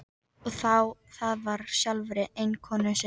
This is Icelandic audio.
Og það frá sjálfri eiginkonu sinni.